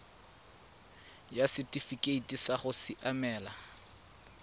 ya setifikeite sa go siamela